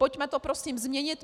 Pojďme to prosím změnit.